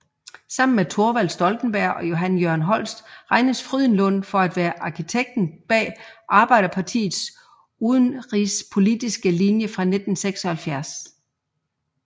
Sammen med Thorvald Stoltenberg og Johan Jørgen Holst regnes Frydenlund for at være arkitekten bag Arbeiderpartiets udenrigspolitiske linje fra 1976